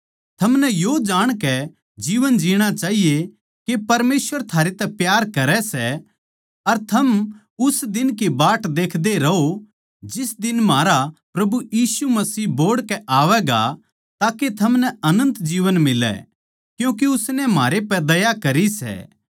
थमनै यो जाणकै जीवन जीणा चाहिए के परमेसवर थारे तै प्यार करै सै अर थम उस दिन की बाट देखदे रहो जिस दिन म्हारा प्रभु यीशु मसीह बोहड़ कै आवैगा ताके थमनै अनन्त जीवन मिलै क्यूँके उसनै म्हारे पै दया करी सै